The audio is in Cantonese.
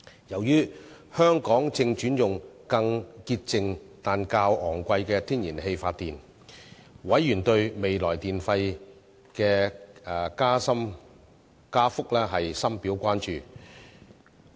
由於香港正轉用更潔淨但較昂貴的天然氣發電，委員對未來電費的加幅深表關注。